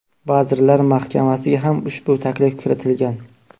Vazirlar Mahkamasiga ham ushbu taklif kiritilgan.